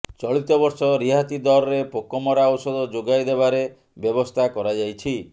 ଚଳିତ ବର୍ଷ ରିହାତି ଦରରେ ପୋକମରା ଔଷଧ ଯୋଗାଇ ଦେବାରେ ବ୍ୟବସ୍ଥା କରାଯାଇଛି